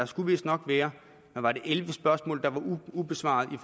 skulle vist nok være var det elleve spørgsmål der var ubesvarede i